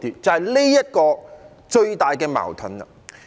這個就是最大的矛盾。